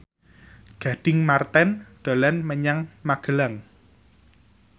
Gading Marten dolan menyang Magelang